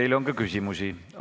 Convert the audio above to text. Teile on ka küsimusi.